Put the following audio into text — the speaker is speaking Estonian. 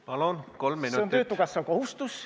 Palun, kolm minutit!